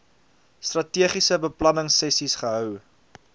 strategiese beplanningsessies gehou